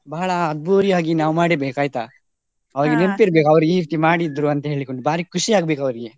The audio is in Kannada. ಬಹಳ ಅದ್ದೂರಿಯಾಗಿ ನಾವ್ ಮಾಡ್ಬೇಕ್ ಆಯ್ತಾ, ನೆನ್ಪ್ ಇರ್ಬೇಕು ಅವ್ರು ಈ ರೀತಿ ಮಾಡಿದ್ರಂತ ಅವ್ರರಿಗೆ ಖುಷಿ ಆಗ್ಬೇಕು ಅವ್ರಿಗೆ.